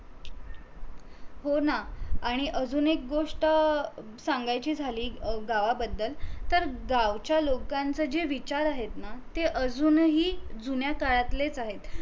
सोड ना, आणि अजून एक गोष्ट सांगायची झाली गावाबद्दल तर गावच्या लोकांचे जे विचार आहेत ना ते अजूनही जुन्य काळातलेच आहेत